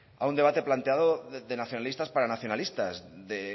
a un debate planteado de nacionalistas para nacionalistas de